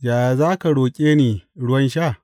Yaya za ka roƙe ni ruwan sha?